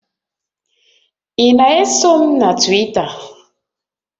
Ị na-eso m na Twita?